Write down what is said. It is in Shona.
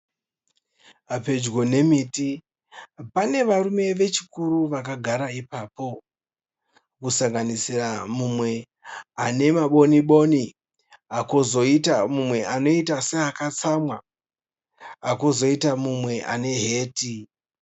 Pedyo nemiti pane varume vechikuru vakagara ipapo kusanganisira umwe ane maboni boni kozoita mumwe anoita seakatsamwa. Kozoita umwe ane heti.